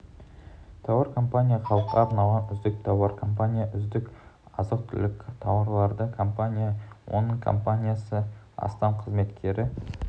тауар компания халыққа арналған үздік тауар компания үздік азық-түлік тауарлары компания оның компаниясы астам қызметкері